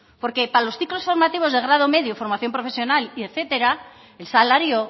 porque para los ciclos formativos de grado medio y formación profesional y etcétera el salario